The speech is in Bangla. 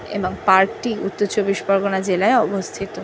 এবং পার্ক -টি উত্তর চব্বিশ পরগনা জেলায় অবস্থিত।